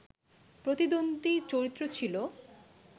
প্রতিদ্বন্দী চরিত্র ছিল